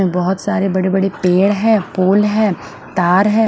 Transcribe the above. बोहोत सारे बड़े बड़े पेड़ है पूल तार है।